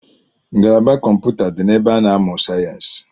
Ngalaba kọmpụta di na ebe a na-amụ sayensi